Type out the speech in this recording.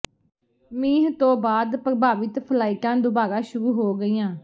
ਮੀਂਹ ਤੋਂ ਬਾਅਦ ਪ੍ਰਭਾਵਿਤ ਫਲਾਈਟਾਂ ਦੁਬਾਰਾ ਸ਼ੁਰੂ ਹੋ ਗਈਆਂ